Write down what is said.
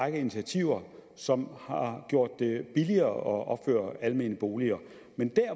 række initiativer som har gjort det billigere at opføre almene boliger men der